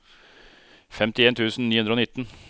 femtien tusen ni hundre og nitten